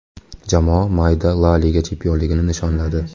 Jamoa mayda La Liga chempionligini nishonladi.